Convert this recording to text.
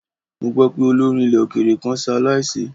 Mo gbọ́ pé olórin ilẹ̀ òkèèrè kan ṣe aláìsí.